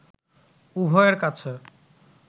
উভয়ের কাছে